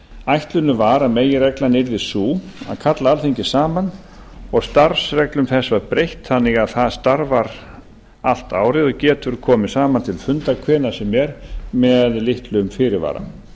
ætlunin var að meginreglan yrði sú að kalla alþingi saman og starfsreglum þess var breytt þannig að það starfar allt árið og getur komið saman til funda hvenær sem er með litlum fyrirvara